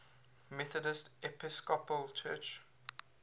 methodist episcopal church